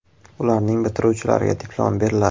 Ularning bitiruvchilariga diplom beriladi.